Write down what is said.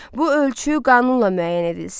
Bu ölçü qanunla müəyyən edilsin.